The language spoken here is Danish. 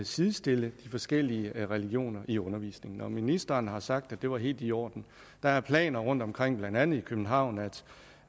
sidestille de forskellige religioner i undervisningen og ministeren har sagt at det var helt i orden der er planer rundtomkring og blandt andet i københavn om